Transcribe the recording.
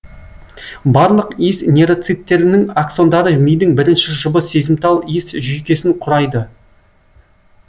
барлық иіс нейроциттерінің аксондары мидың бірінші жұбы сезімтал иіс жүйкесін құрайды